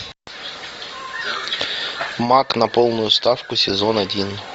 маг на полную ставку сезон один